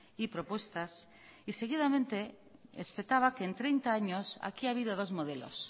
y propuestas y seguidamente espetaba que en treinta años aquí ha habido dos modelos